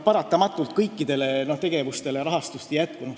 Paratamatult kõikidele tegevustele rahastust ei jätku.